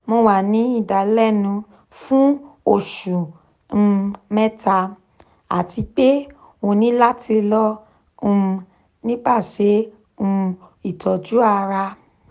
mo wa ni idalẹnu fun osu um mẹta ati pe o ni lati lọ um nipasẹ um itọju ara